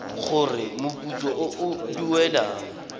gore moputso o o duelwang